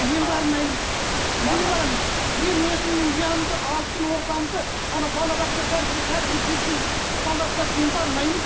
мен бармаймын неге барамын мен мен өзімнің ұямды алтын ордамды балабақша тәрізді кәдімгі жетім балалар құсап мен бармаймын